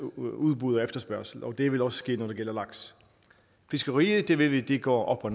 udbud og efterspørgsel og det vil også ske når det gælder laks fiskeriet det ved vi går op og